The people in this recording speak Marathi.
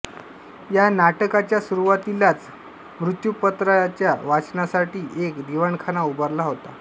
या नाटकाच्या सुरुवातीलाच मृत्युपत्राया वाचनासाठी एक दिवाणखाना उभारला होता